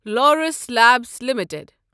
Laurus Labs limited